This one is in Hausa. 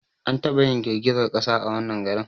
An taba yin girgizar kasa a wannan garin